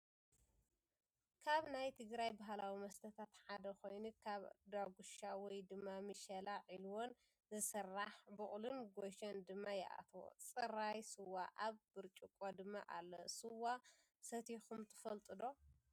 ካብ ናይ ትግራይ ባህላዊ መስተታት ሓደ ኮይኑ ካብ ዳጉሻ ወይ ድማ ምሸላን ዒልዎን ይስራሕ ።ቡቅልን ጎኘን ድማ ይኣትዎ። ፅራይ ስዋ ኣብ ብርጭቆ ድማ ኣሎ ።ስዋ ሰቲኩም ትፈልጡ ዶ?